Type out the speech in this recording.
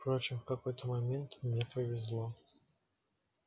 впрочем в какой-то момент мне повезло